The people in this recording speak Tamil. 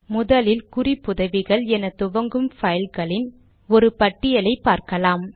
முதலில் குறிப்புதவிகள் எனத்துவங்கும் பைல்களின் ஒரு பட்டியலை பார்க்கலாம்